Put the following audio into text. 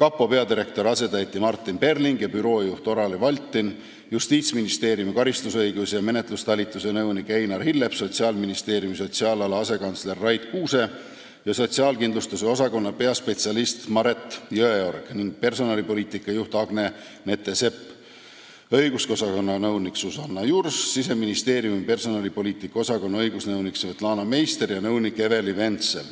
kapo peadirektori asetäitja Martin Perling ja büroojuht Olari Valtin, Justiitsministeeriumi karistusõiguse ja menetluse talituse nõunik Einar Hillep, Sotsiaalministeeriumi sotsiaalala asekantsler Rait Kuuse, sotsiaalkindlustuse osakonna peaspetsialist Mare Jõeorg, personalipoliitika juht Agne Nettan-Sepp ning õigusosakonna nõunik Susanna Jurs, Siseministeeriumi personalipoliitika osakonna õigusnõunik Svetlana Meister ja nõunik Eneli Vensel.